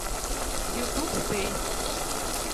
ютуб стэй